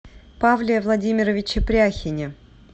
павле владимировиче пряхине